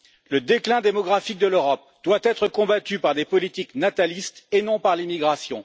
Le déclin démographique de l'Europe doit être combattu par des politiques natalistes et non par l'immigration.